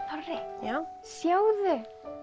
já sjáðu